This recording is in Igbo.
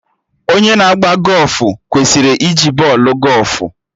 Onye na agba gọfụ kwesịrị iji bọọlụ gọfụ